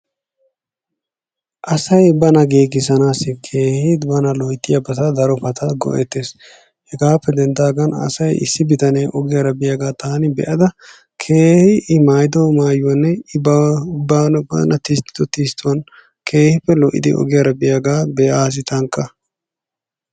Asay bana giigissanassi keehi bana loyttiyaabata darobata go''eettees. Hegappe denddaagan asay issi bitanee ogiyaara biyaaga taani be'ada keehi I maayyido maayuwanne i bana tistto tisttuwan keehippe lo''idi ogiyaara biyaaga be''assi tankka.